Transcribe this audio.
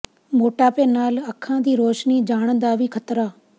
ਮੋਟਾਪੇ ਨਾਲ ਅੱਖਾਂ ਦੀ ਰੌਸ਼ਨੀ ਜਾਣ ਦਾ ਵੀ ਖ਼ਤਰਾ